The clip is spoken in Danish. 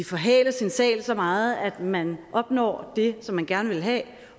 forhale sin sag så meget at man opnår det som man gerne vil have